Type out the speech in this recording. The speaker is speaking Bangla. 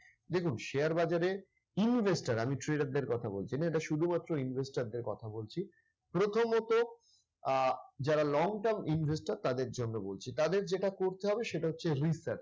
দেখুন share বাজারে investor আমি trader দের কথা বলছি না এটা শুধুমাত্র investor দের কথা বলছি। প্রথমত আহ যারা long term investor তাদের জন্য বলছি, তাদের যেটা করতে হবে সেটা হচ্ছে retouch